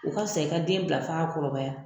U ka fisa i ka den bila f'a ka kɔrɔbaya.